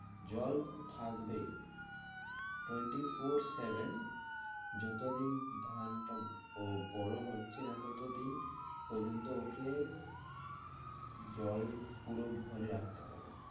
জল থাকবেই twenty four seven যতদিন ধানটা ব~ বড় হচ্ছেনা, ততদিন পর্যন্ত ওকে জল পুরো ভরে রাখতে হবে।